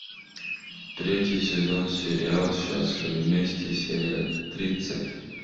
третий сезон сериал счастливы вместе серия тридцать